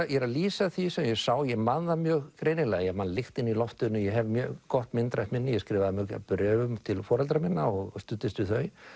ég er að lýsa því sem ég sá ég man það mjög greinilega ég man lyktina í loftinu ég hef mjög gott myndrænt minni ég skrifaði mörg bréf til foreldra minna og studdist við þau